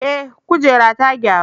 Eh, kujerar ta gyaru.